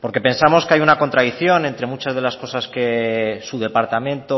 porque pensamos que hay una contradicción entre muchas de las cosas que su departamento